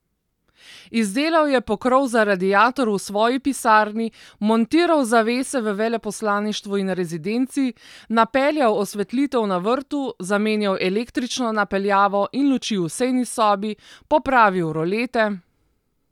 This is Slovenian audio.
Izdelal je pokrov za radiator v svoji pisarni, montiral zavese v veleposlaništvu in rezidenci, napeljal osvetlitev na vrtu, zamenjal električno napeljavo in luči v sejni sobi, popravil rolete...